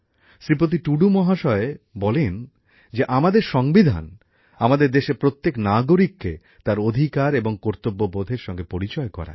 শ্রীপতি টুডু মহাশয় বলেন যে আমাদের সংবিধান আমাদের দেশের প্রত্যেক নাগরিককে তার অধিকার এবং কর্তব্যবোধের সঙ্গে পরিচয় করায়